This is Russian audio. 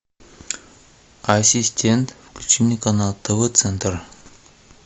ассистент включи мне канал тв центр